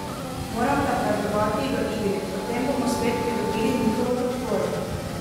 Moramo napredovati v igri, potem bomo spet pridobili njihovo podporo.